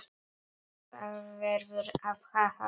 Það verður að hafa það.